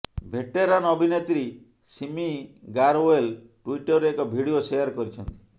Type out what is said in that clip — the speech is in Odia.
ଭେଟେରାନ ଅଭିନେତ୍ରୀ ସିମି ଗାରଓ୍ବୋଲ ଟୁଇଟରରେ ଏକ ଭିଡିଓ ଶେୟାର କରିଛନ୍ତି